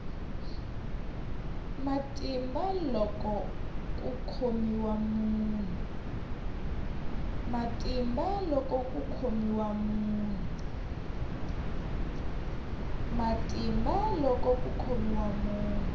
matimba loko ku khomiwa munhu